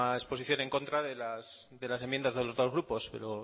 exposición en contra de las enmiendas de los dos grupos pero